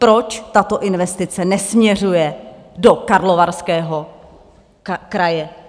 Proč tato investice nesměřuje do Karlovarského kraje?